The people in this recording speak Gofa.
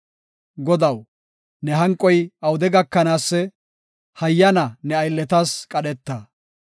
Godaw, ne hanqoy awude gakanaasee? hayyana ne aylletas qadheta.